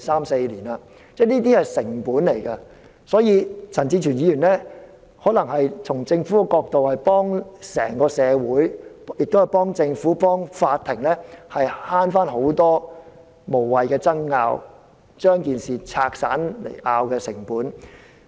所以，從這個角度而言，陳志全議員可能是幫了整個社會、政府和法庭省卻了很多無謂的爭拗，或是把事情分散爭拗的成本。